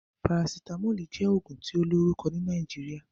Parasitamoli jẹ́ ògùn tí ó lórùkọ ni Nàìjíríà